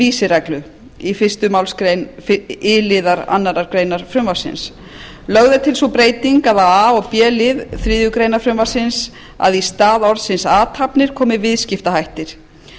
vísireglu fyrstu málsgrein i liðar annarrar greinar frumvarpsins lögð er til sú breyting á a og b lið þriðju greinar frumvarpsins að í stað orðsins athafnir komi viðskiptahættir